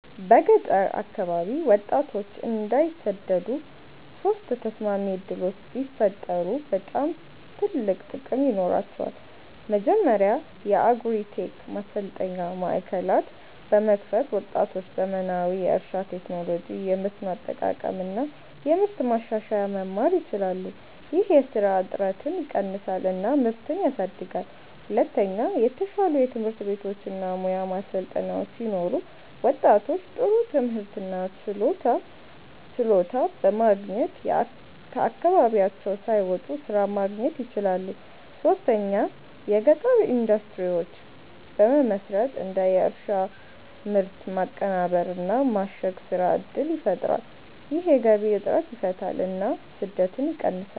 በገጠር አካባቢ ወጣቶች እንዳይሰደዱ ሶስት ተስማሚ ዕድሎች ቢፈጠሩ በጣም ትልቅ ጥቅም ይኖራቸዋል። መጀመሪያ የአግሪ-ቴክ ማሰልጠኛ ማዕከላት በመክፈት ወጣቶች ዘመናዊ የእርሻ ቴክኖሎጂ፣ የመስኖ አጠቃቀም እና የምርት ማሻሻያ መማር ይችላሉ። ይህ የስራ እጥረትን ይቀንሳል እና ምርትን ያሳድጋል። ሁለተኛ የተሻሉ ትምህርት ቤቶች እና ሙያ ማሰልጠኛዎች ሲኖሩ ወጣቶች ጥሩ ትምህርት እና ችሎታ በማግኘት ከአካባቢያቸው ሳይወጡ ስራ ማግኘት ይችላሉ። ሶስተኛ የገጠር ኢንዱስትሪዎች በመመስረት እንደ የእርሻ ምርት ማቀናበር እና ማሸግ ስራ እድል ይፈጠራል። ይህ የገቢ እጥረትን ይፈታል እና ስደትን ይቀንሳል።